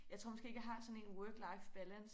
Jeg tror måske ikke jeg har sådan work life balance